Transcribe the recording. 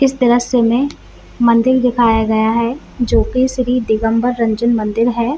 इस तरस मे मंदिर दिखाया गया है जो की श्री दिगंबर रंजन मंदिर है।